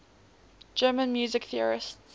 german music theorists